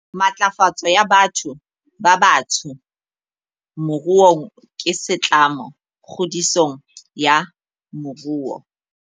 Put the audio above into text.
Matlafatso ya batho ba batsho moruong ke setlamo kgodisong ya moruo.